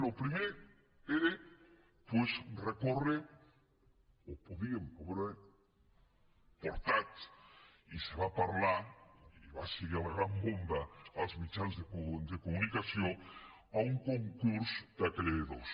el primer era doncs recórrer ho podíem haver portat i se’n va parlar i va ser la gran bomba als mitjans de comunicació a un concurs de creditors